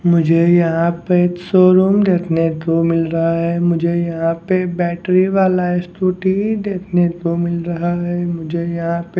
मुझे यहां पे एक शोरूम देखने को मिल रहा है मुझे यहां पे बैटरी वाला स्कूटी देखने को मिल रहा है मुझे यहां पे--